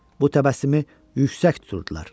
Bu təbəssümü yüksək tuturdular.